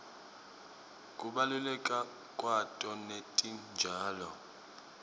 kubaluleka kwato netitjalo